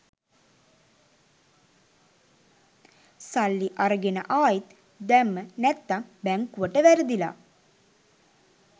සල්ලි අරගෙන ආයිත් දැම්ම නැත්තං බැංකුවට වැරදිලා